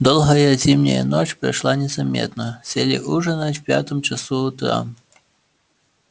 долгая зимняя ночь прошла незаметно сели ужинать в пятом часу утра